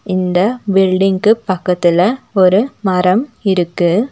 இந்த பில்டிங்க்கு பக்கத்துல ஒரு மரம் இருக்கு.